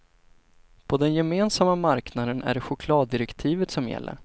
På den gemensamma marknaden är det chokladdirektivet som gäller.